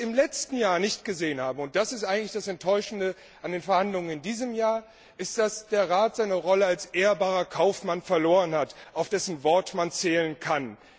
Was wir im letzten Jahr nicht gesehen haben und das ist eigentlich das Enttäuschende an den Verhandlungen in diesem Jahr ist, dass der Rat seine Rolle als ehrbarer Kaufmann verloren hat, auf dessen Wort man zählen kann.